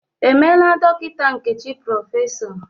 E meela Dọkịta Nkechi Prọfesọ?